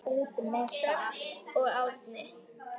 Sjöfn og Árni.